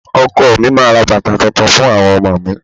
Ọkọ mi máa ra bàtà tuntun fún àwọn ọmọ mi.